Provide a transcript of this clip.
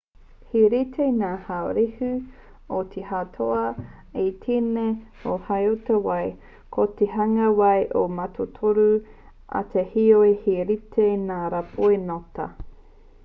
he rite ngā haurehu o te hauota i tēnā o te hauota wai ko te hanga wai he mātotoru ake heoi he rite ngā rāpoi ngota